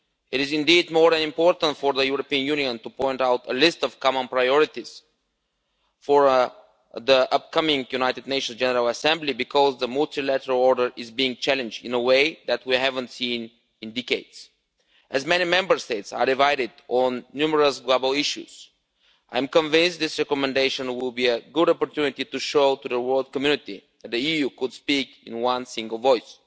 It is indeed more important for the European Union to point out a list of common priorities for the upcoming United Nations General Assembly, because the multilateral order is being challenged in a way that we haven't seen in decades. As many Member States are divided on numerous global issues, I am convinced this recommendation will be a good opportunity to show the world community that the EU could speak in one single voice.